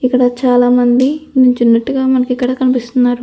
ఇక్కడ చాలా మంది నిల్చున్నట్టుగా మనకు కనిపిస్తుంది.